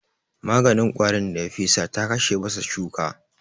Maganin ƙwarin da ya fesa ta kashe masa shuka